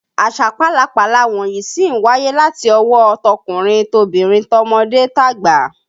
Àṣà pálapàla wọ̀nyí sì ń wáyé láti ọwọ́ ọ tọkùnrin tobìnrin, tọmọdé tàgbà